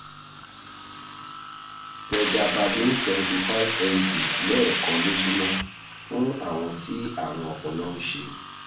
pregabalin seventy five mg lẹ́ẹ̀kan lójúmọ́ fún àwọn tí àrùn ọpọlọ ń ṣe